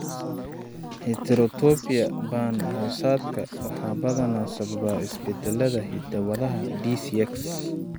Heterotopia band-hoosaadka waxaa badanaa sababa isbeddellada hidda-wadaha DCX.